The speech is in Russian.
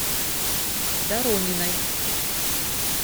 дорониной